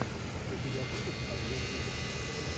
у тебя будет обзор видео